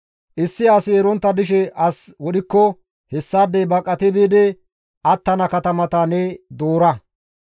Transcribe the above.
issi asi erontta dishe as wodhikko hessaadey baqati biidi attana katamata ne doora.